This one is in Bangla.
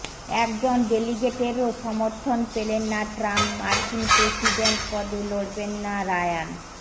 একজন ডেলিগেটেরও সমর্থন পেলেন না ট্রাম্প মার্কিন প্রেসিডেন্ট পদে লড়বেন না রায়ান